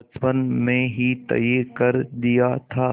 बचपन में ही तय कर दिया था